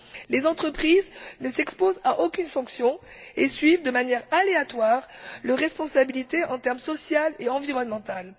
Les entreprises ne s'exposent à aucune sanction et suivent de manière aléatoire leur responsabilité sociale et environnementale.